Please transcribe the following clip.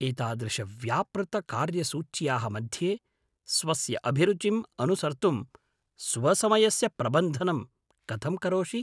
एतादृशव्यापृतकार्यसूच्याः मध्ये स्वस्य अभिरुचिम् अनुसर्तुं स्वसमयस्य प्रबन्धनं कथं करोषि?